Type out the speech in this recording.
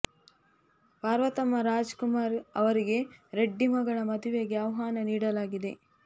ಪಾರ್ವತಮ್ಮ ರಾಜ್ ಕುಮಾರ್ ಅವರಿಗೆ ರೆಡ್ಡಿ ಮಗಳ ಮದುವೆಗೆ ಆಹ್ವಾನ ನೀಡಲಾಗಿದೆ